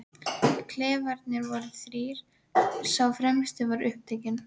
Klefarnir voru þrír, sá fremsti var upptekinn.